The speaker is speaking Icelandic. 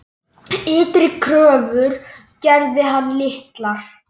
Ytri kröfur gerði hann litlar.